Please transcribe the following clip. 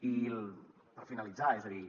i per finalitzar és a dir